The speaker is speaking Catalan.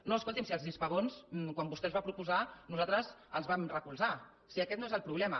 no escolti’m si els hispabons quan vostè els va proposar nosaltres els vam recolzar si aquest no és el problema